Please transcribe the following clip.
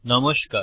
নমস্কার